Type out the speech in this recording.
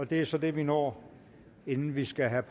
det er så det vi når inden vi skal have